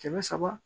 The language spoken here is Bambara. Kɛmɛ saba